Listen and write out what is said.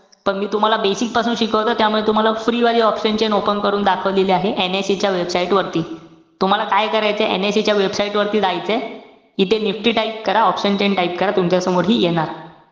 पण मी तुम्हाला basic पासून शिकवतोय. त्यामुळे तुम्हाला free वाली option chain करून दाखवलेली आहे. NIC च्या website वरती. तुम्हाला काय करायचंय, NIC च्या website वरती जायचंय. इथे NIFTY type करा. option chain type करा. तुमच्यासमोर हि येणार.